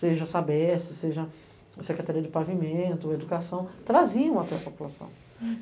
seja a Sabest, seja a Secretaria de Pavimento, Educação, traziam até a população.